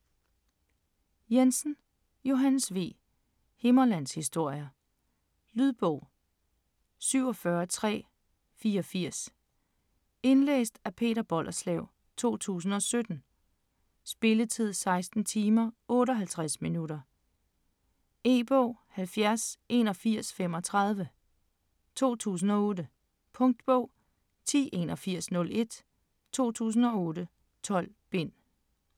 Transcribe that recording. Jensen, Johannes V.: Himmerlandshistorier Lydbog 47384 Indlæst af Peter Bollerslev, 2017. Spilletid: 16 timer, 58 minutter. E-bog 708135 2008. Punktbog 108101 2008. 12 bind.